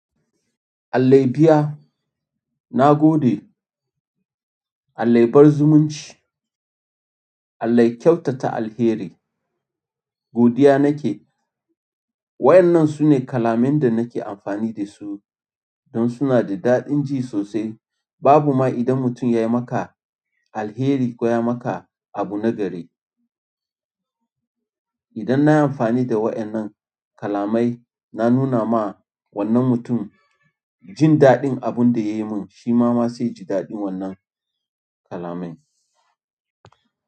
Alhaji ya biya, na gode, Alhaji. Ya bar zumunci, Alhaji. Ya kyautata alheri, godiya nake. Wa'innan sune kalaman da nake amfani da su don suna da daɗin ji sosai. Babu ma idan mutum ya yi maka alheri ko ya yi maka abu na gari. Idan na yi amfani da wa'innan kalamai, na nuna ma wannan mutum jin daɗin abin da ya yi min, shi ma ma zai ji daɗin wannan kalamai.